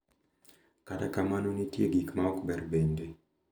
Kata kamano, nitie gik ma ok ber bende,